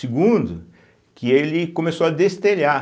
Segundo, que ele começou a destelhar.